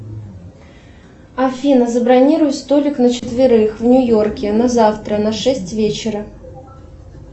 афина забронируй столик на четверых в нью йорке на завтра на шесть вечера